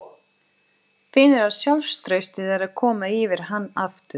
Finnur að sjálfstraustið er að koma yfir hann aftur.